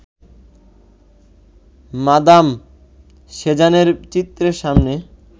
madame সেজানের চিত্রের সামনে